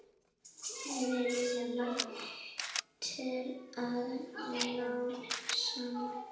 Vilji til að ná saman.